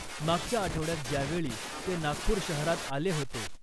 मागच्या आठवड्यात ज्यावेळी ते नागपूर शहरात आले होते .